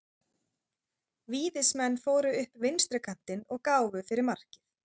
Víðismenn fóru upp vinstri kantinn og gáfu fyrir markið.